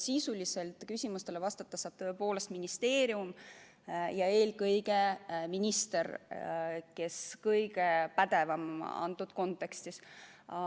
Sisuliselt saab küsimustele vastata tõepoolest ministeerium ja eelkõige minister, kes on selles kontekstis kõige pädevam.